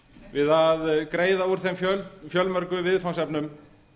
við að greiða úr þeim fjölmörgu viðfangsefnum